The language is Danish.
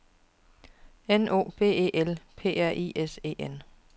N O B E L P R I S E N